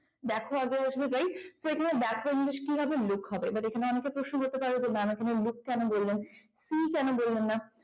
দেখো আগে বসবে right তাহলে দেখো english কি হবে look হবে এখানে অনেকের প্রশ্ন হতে পারে যেখানে ম্যাম look কেন বললেন see কেন বললেন না